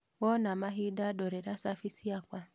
Wona mahinda ndorera cabi ciakwa